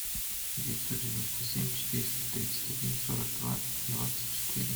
девятьсот девяносто семь четыреста тридцать один сорок два двадцать четыре